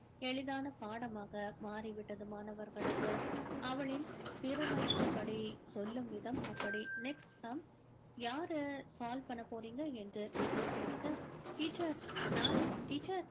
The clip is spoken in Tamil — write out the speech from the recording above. எளிதான பாடமாக மாறி விட்டது மாணவர்களுக்கு அவளின் திறமை அப்படி சொல்லும் விதம் அப்படி next sum யாரு solve பண்ண போறீங்க என்று இசை கேட்க teacher நானு teacher